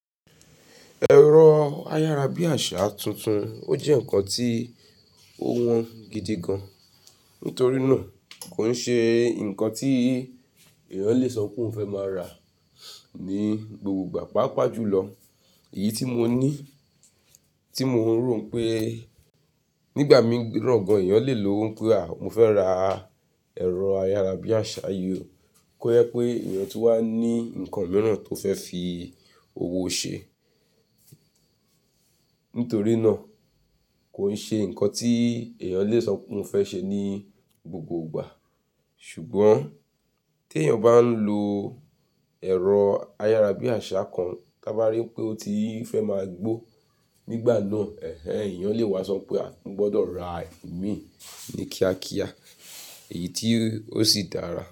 Ẹ̀rọ ayárabíàṣá tuntun o jẹ́ nǹkan tí ó wọ́n gidi gan-an. Nítorí náà kò n ṣe ǹkan tí èèyàn lè sọ pé óun fẹ́ máa rà ní gbogbo ìgbà. Pápa jùlọ èyí tí mo ní, tí mo ń rò pé nígbà mí ran gan-an èèyàn lè lowó pé à, mo fẹ́ rà ẹ̀rọ ayárabíàṣá yi o. Kọ́ jẹ pé èèyàn tun wá ní ǹkan mìíràn tó fẹ́ fi owó o ṣe. Nítorí náà kò n ṣe ǹkan tí èèyàn lè sọ pé óun fẹ́ ṣe ní gbogbo ìgbà. Ṣùgbọ́n tèyàn bá ń lo ẹ̀rọ ayárabíàṣá kan, tá ba rí pé ó ti fẹ́ máa gbó, nígbà náà ẹ̀hẹ̀ẹ̀n èèyàn lè wá sọ pé à, mo gbọdọ̀ rà imí ní kíákíá èyí tí ó sì dára.